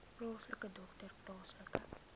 plaaslike dokter plaaslike